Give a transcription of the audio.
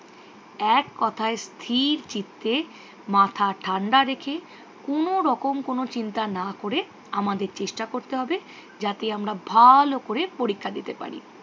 এক কোথায় স্থির চিত্তে মাথা ঠাণ্ডা রেখে কোনও রকম কোনও চিন্তা না করে আমাদের চেষ্টা করতে হবে যাতে আমরা ভালো করে পরীক্ষা দিতে পারি।